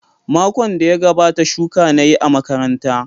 Makon da ya gabata shuku na yi a makaranta.